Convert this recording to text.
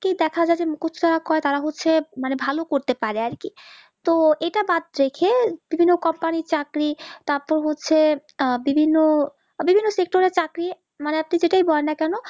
কি দেখা যাবে কর তারা হচ্ছে মানে ভালো করতে পারে আরকি তো এটা ব্যাড রেখে প্রীতম কপাল চাকরি তারপর হচ্ছে আহ বিভিন্ন চাকরি মানে আপনি যাকেই বলেন কেন